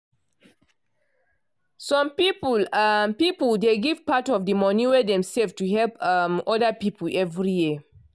some some um piple dey give part of di money wey dem save to help um oda piple every year.